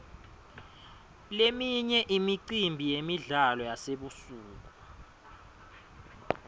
leminye imicimbi yemidlalo yasebusuku